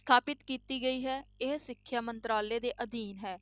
ਸਥਾਪਤ ਕੀਤੀ ਗਈ ਹੈ, ਇਹ ਸਿੱਖਿਆ ਮੰਤਰਾਲੇ ਦੇ ਅਧੀਨ ਹੈ